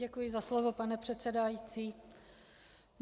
Děkuji za slovo, pane předsedající.